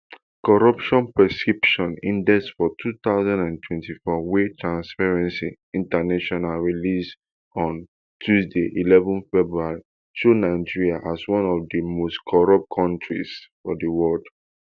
corruption perception index for two thousand and twenty-four wey transparency international release on tuesday eleven february show nigeria as one of di most corrupt kontris for di world